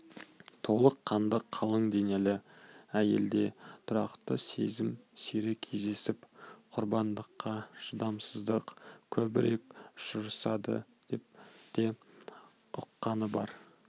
толық қанды қалың денелі әйелде тұрақты сезім сирек кездесіп құрбандыққа шыдамсыздық көбірек ұшырасады деп те ұққаны бар